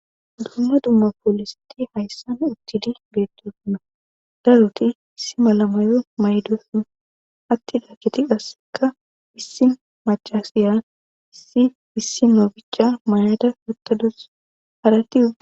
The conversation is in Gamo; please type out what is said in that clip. dumma dumma poolisati hayssan uttidi geettosunna daruti issi malamayo maydosuna attida kiti asseka issi macasiya issi issi nobicha mayada yuttadus harati